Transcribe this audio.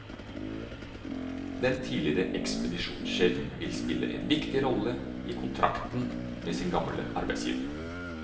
Den tidligere ekspedisjonssjefen vil spille en viktig rolle i kontakten med sin gamle arbeidsgiver.